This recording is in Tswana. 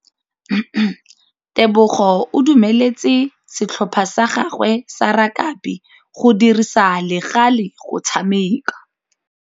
Tebogô o dumeletse setlhopha sa gagwe sa rakabi go dirisa le galê go tshameka.